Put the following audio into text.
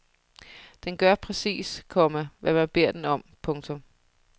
Den gør præcis, komma hvad man beder den om. punktum